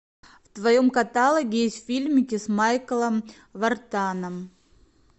в твоем каталоге есть фильмики с майклом вартаном